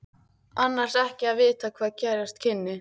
Annars ekki að vita hvað gerast kynni.